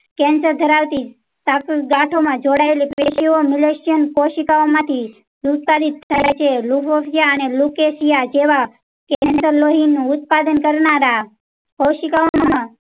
cancer ધરાવતી ગાંઠો માં જોડાયેલી મલેશિયન એશિયન કોશિકાઓ માંથી. થાય છે લુફતરીયા અને લૂક એશિયા જેવા કે લોહી નું ઉત્પાદન કરનારા કોશિકાઓ